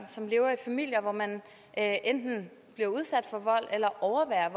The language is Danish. som lever i familier hvor man enten bliver udsat for vold eller overværer